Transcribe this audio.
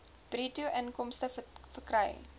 bruto inkomste verkry